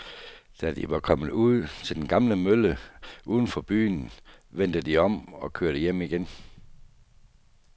Da de var kommet ud til den gamle mølle uden for byen, vendte de om og kørte hjem igen.